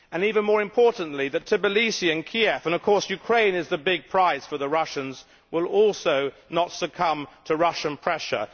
and, even more importantly, that Tbilisi and Kiev and of course Ukraine is the big prize for the Russians will not also succumb to Russian pressure.